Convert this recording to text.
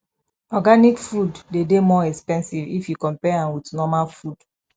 organic food de dey more expensive if you compare am with normal food